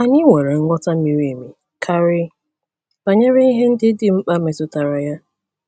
Anyị nwere nghọta miri emi karị banyere ihe ndị dị mkpa metụtara ya.